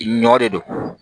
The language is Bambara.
Ɲɔ de don